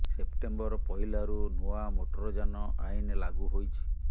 September ପହିଲାରୁ ନୂଆ motor ଯାନ ଆଇନ ଲାଗୁ ହୋଇଛି